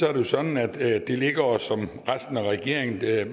er det sådan at det ligger os og resten af regeringen